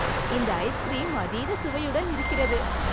இந்த ஐஸ்கிரீம் அதீத சுவையுடன் இருக்கிறது!